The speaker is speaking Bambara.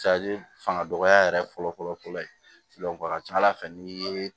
fanga dɔgɔya yɛrɛ fɔlɔ-fɔlɔ ye a ka ca ala fɛ n'i ye